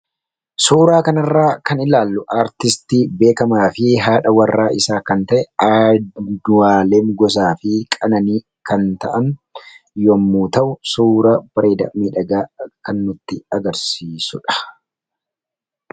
suuraa kanarra kan ilaallu artistii beekamaa fi haadha warra isaa kan ta'e adualeem gosaa fi qananii kan ta'an yommu ta'u suura bireeda midhagaa kannutti agarsiisudha